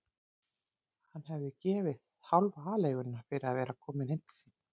Hann hefði gefið hálfa aleiguna fyrir að vera kominn heim til sín.